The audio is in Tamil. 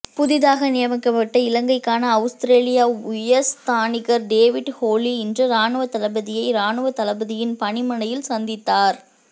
புதிதாக நியமிக்கப்பட்ட இலங்கைக்கான அவுஸ்திரேலியா உயர்ஸ்தானிகர் டேவிட் ஹொலி இன்று இராணுவ தளபதியை இராணுவ தளபதியின் பணிமனையில் சந்தித்தார்